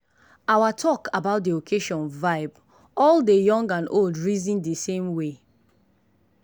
our talk about dey occasion vibe all dey young and old reason dey same way.